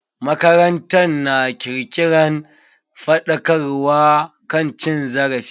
Makarantar na kirkiran faɗakarwa kan cin zarafi.